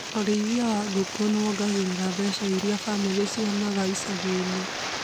ũrĩithia wa ngũkũ nĩwongagĩrĩra mbeca irĩa bamĩrĩ cionaga icagi-inĩ